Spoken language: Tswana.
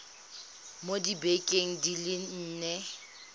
mo dibekeng di le nne